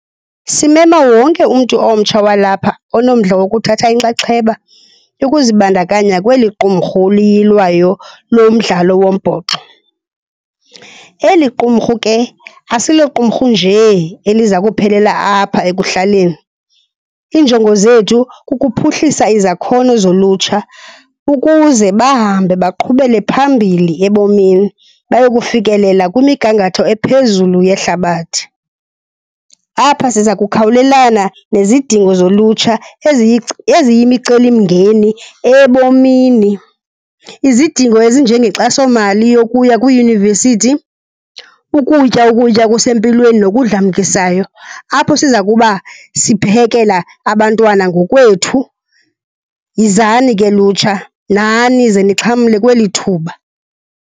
Simema wonke umntu omtsha walapha onomdla wokuthatha inxaxheba yokuzibandakanya kweli qumrhu liyilwayo lo mdlalo wombhoxo. Eli qumrhu ke asiloqumrhu nje eliza kuphelela apha ekuhlaleni, iinjongo zethu kukuphuhlisa izakhono zolutsha ukuze bahambe baqhubele phambili ebomini bayokufikelela kwimigangatho ephezulu yehlabathi. Apha siza kukhawulelana nezidingo zolutsha eziyimicelimingeni ebomini. Izidingo ezinjengenkxasomali yokuya kwiiyunivesithi, ukutya ukutya okusempilweni nokudlamkisayo apho siza kuba siphekela abantwana ngokwethu. Yizani ke lutsha, nani ze nixhamle kweli thuba.